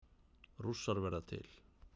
Rússar verða til